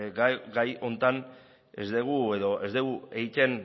gai honetan ez dugu edo ez dugu egiten